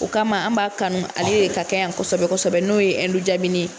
O kama an b'a kanu ale de ka kɛ yan kosɛbɛ kosɛbɛ n'o ye jabini ye